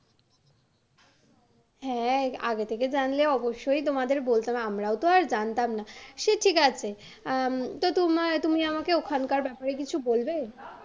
হ্যাঁ আগে থেকে জানলে অবশ্যই তোমাদের বলতাম আমারও তো আর জানতাম না সে ঠিক আছে আম তোমার তুমি আমাকে ওখানকার ব্যাপারে কিছু বলবে।